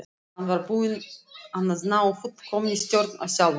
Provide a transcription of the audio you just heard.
Hann var búinn að ná fullkominni stjórn á sjálfum sér.